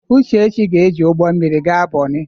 Uchechi ga-eji ụgbọ mmiri gaa Bonnị.